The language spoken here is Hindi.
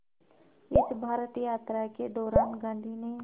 इस भारत यात्रा के दौरान गांधी ने